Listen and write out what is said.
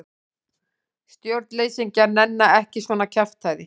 Stjórnleysingjar nenna ekki svona kjaftæði.